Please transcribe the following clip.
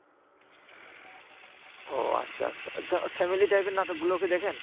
ও আচ্ছা আচ্ছা। আচ্ছা, family type এর নাটকগুলোও কি দেখেন?